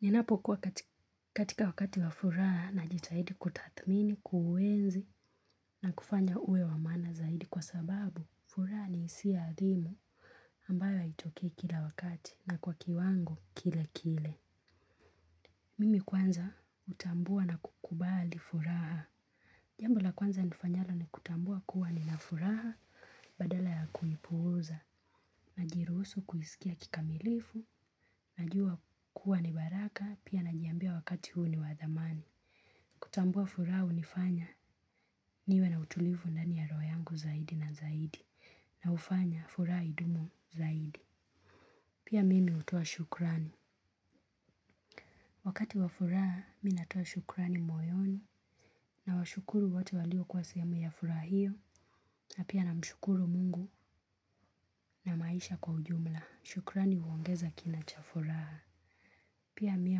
Ninapokuwa katika wakati wa furaha najitahidi kutathmini, kuenzi na kufanya uwe wa maana zaidi kwa sababu furaha ni hisia adimu ambayo haitokei kila wakati na kwa kiwango kile kile. Mimi kwanza utambua na kukubali furaha. Jambo la kwanza nifanyalo ni kutambua kuwa ni na furaha badala ya kuipuuza, najiruhusu kuisikia kikamilifu, najua kuwa ni baraka, pia najiambia wakati huu ni wa dhamani. Kutambua furaha hunifanya niwe na utulivu ndani ya roho yangu zaidi na zaidi, na hufanya furaha idumu zaidi. Pia mimi hutoa shukrani. Wakati wa furaha mimi natoa shukrani moyoni nawashukuru watu walio kwa sehemu ya furaha hio na pia namshukuru mungu na maisha kwa ujumla. Shukrani huongeza kina cha furaha. Pia mimi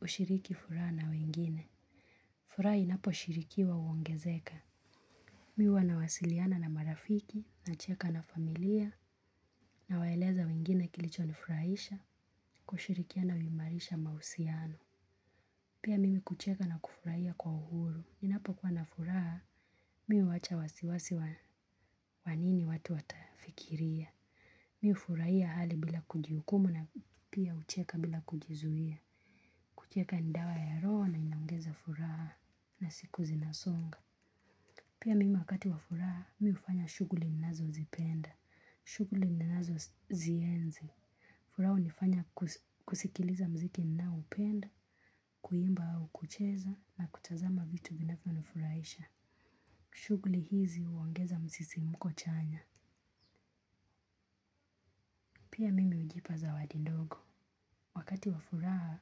hushiriki furaha na wengine. Furaha inapo shirikiwa huongezeka. Mimi huwa nawasiliana na marafiki nacheka na familia nawaeleza wengine kilicho ni furahisha kushirikiana huimarisha mahusiano. Pia mimi kucheka na kufurahia kwa uhuru. Ninapo kuwa na furaha, mimi huwacha wasiwasi wa nini watu watafikiria. Mimi hufurahia hali bila kujihukumu na pia hucheka bila kujizuia. Kucheka ni dawa ya roho na inaongeza furaha na siku zinasonga. Pia mimi wakati wa furaha, mimi hufanya shughuli ninazo zipenda. Shughuli ninazozienzi. Furaha hunifanya kusikiliza mziki ninaupenda, kuimba au kucheza na kutazama vitu vinavyo nifurahisha. Shughuli hizi huongeza mzisimko chanya. Pia mimi hujipa zawadi dogo. Wakati wa furaha,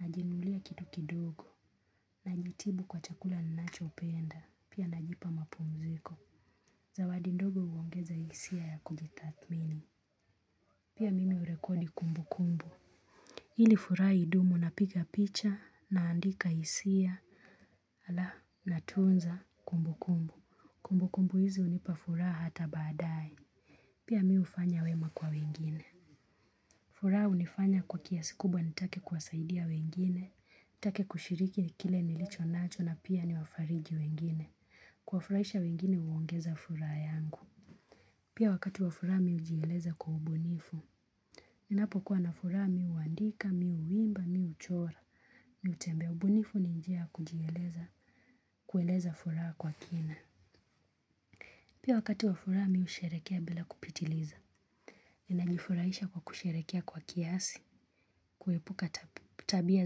najinunulia kitu kidogo. Najitibu kwa chakula ninacho penda. Pia najipa mapumziko. Zawadi dogo uongeza hisia ya kujitathmini. Pia mimi urekodi kumbu kumbu. Ili furaha idumu napiga picha naandika hisia. Alafu natunza kumbukumbu. Kumbukumbu hizi hunipa furaha hata baadae. Pia mimi hufanya wema kwa wengine. Furaha hunifanya kwa kiasi kubwa nitake kuwasaidia wengine. Nitake kushiriki na kile nilicho nacho na pia ni wafariji wengine. Kuwafurahisha wengine huongeza furaha yangu. Pia wakati wa furaha mimi hujieleza kwa ubunifu. Ninapokuwa na furaha mimi huandika, mimi huimba, mimi huchora mimi hutembea ubunifu ni njia kujieleza kueleza furaha kwa kina pia wakati wa furaha mimi husherehekea bila kupitiliza ni najifurahisha kwa kusherehekea kwa kiasi kuepuka tabia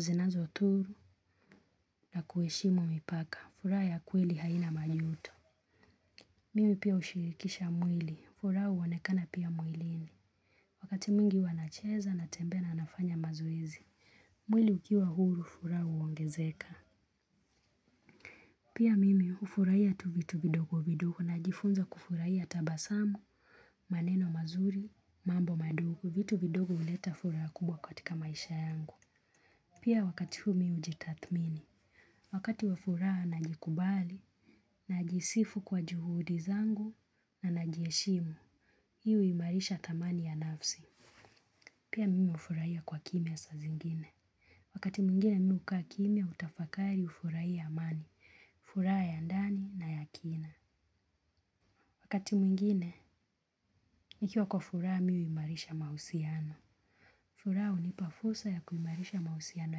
zinazodhuru na kuheshimu mipaka furaha ya kweli haina majuto mimi pia hushirikisha mwili furaha huonekana pia mwilini wakati mwingi huwa nacheza natembea na nafanya mazoezi mwili ukiwa huru furaha huongezeka pia mimi hufurahia tu vitu vidogo vidogo najifunza kufurahia tabasamu, maneno mazuri, mambo madogo, vitu vidogo huleta furaha kubwa katika maisha yangu. Pia wakati huu mimi hujitathmini, wakati wa furaha najikubali, najisifu kwa juhudi zangu na najiheshimu, hii huimarisha thamani ya nafsi. Pia mimi hufurahia kwa kimya saa zingine. Wakati mwingine mimi hukaa kimya hutafakari hufurahia amani, furaha ya ndani na ya kina. Wakati mwingine, nikiwa kwa furaha mimi huimarisha mahusiano. Furaha hunipa fursa ya kuimarisha mahusiano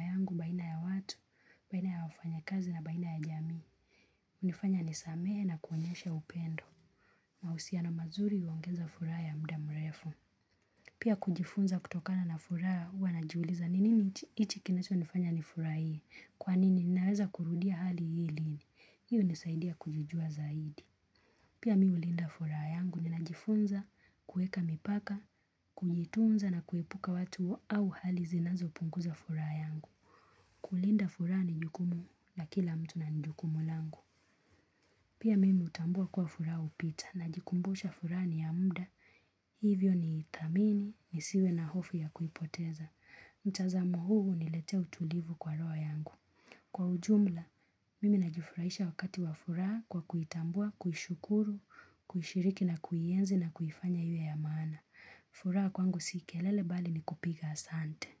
yangu baina ya watu, baina ya wafanya kazi na baina ya jamii. Hunifanya nisamehe na kuonyesha upendo. Mahusiano mazuri huongeza furaha ya muda mrefu. Pia kujifunza kutokana na furaha huwa najiuliza nini hiki kinacho nifanya ni furahie. Kwani ninaweza kurudia hali hili hili. Hii hunisaidia kujijua zaidi. Pia mimi hulinda furaha yangu ninajifunza kuweka mipaka, kujitunza na kuepuka watu au hali zinazo punguza furaha yangu. Kulinda furaha ni jukumu na kila mtu na jukumu langu. Pia mimi hutambua kuwa furaha hupita najikumbusha furaha ni ya muda. Hivyo ni ithamini, nisiwe na hofu ya kuipoteza. Mtazamo huu huniletea utulivu kwa roho yangu. Kwa ujumla, mimi najufurahisha wakati wa furaha kwa kuitambua, kushukuru, kushiriki na kuienzi na kuifanya iwe ya maana. Furaha kwangu si kelele bali ni kupiga asante.